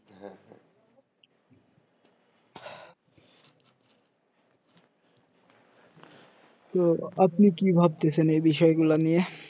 তো আপনি কি ভাবতেসেন এই বিষয়গুলা নিয়ে